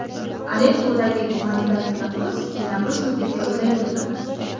Aleppodagi gumanitar tanaffus yana bir sutkaga uzaytiriladi.